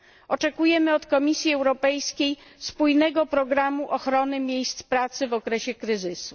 Oczekujemy od Komisji Europejskiej spójnego programu ochrony miejsc pracy w okresie kryzysu.